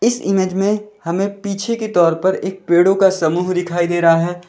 इस इमेज में हमें पीछे के तौर पर एक पेड़ों का समूह दिखाई दे रहा है।